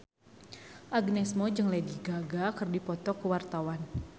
Agnes Mo jeung Lady Gaga keur dipoto ku wartawan